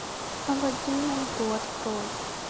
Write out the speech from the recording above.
алладин на льду открой